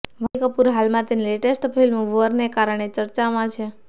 વાણી કપૂર હાલમાં તેની લેટેસ્ટ ફિલ્મ વોર ને કારણે ચર્ચામાં છે